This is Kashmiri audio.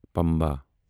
پمبا